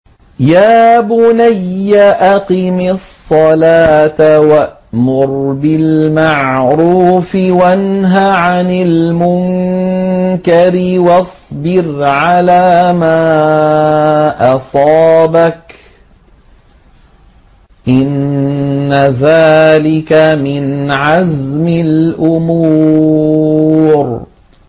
يَا بُنَيَّ أَقِمِ الصَّلَاةَ وَأْمُرْ بِالْمَعْرُوفِ وَانْهَ عَنِ الْمُنكَرِ وَاصْبِرْ عَلَىٰ مَا أَصَابَكَ ۖ إِنَّ ذَٰلِكَ مِنْ عَزْمِ الْأُمُورِ